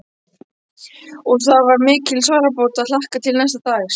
Og það var mikil sárabót að hlakka til næsta dags.